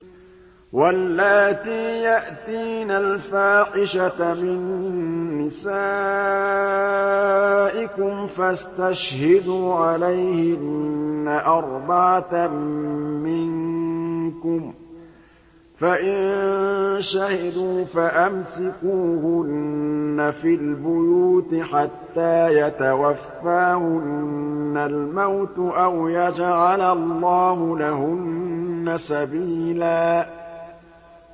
وَاللَّاتِي يَأْتِينَ الْفَاحِشَةَ مِن نِّسَائِكُمْ فَاسْتَشْهِدُوا عَلَيْهِنَّ أَرْبَعَةً مِّنكُمْ ۖ فَإِن شَهِدُوا فَأَمْسِكُوهُنَّ فِي الْبُيُوتِ حَتَّىٰ يَتَوَفَّاهُنَّ الْمَوْتُ أَوْ يَجْعَلَ اللَّهُ لَهُنَّ سَبِيلًا